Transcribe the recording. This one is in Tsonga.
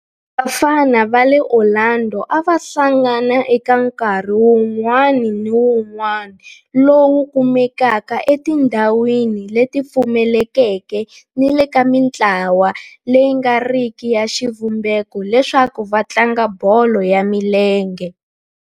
Vafana va le Orlando a va hlangana eka nkarhi wun'wana ni wun'wana lowu kumekaka etindhawini leti pfulekeke ni le ka mintlawa leyi nga riki ya xivumbeko leswaku va tlanga bolo ya milenge.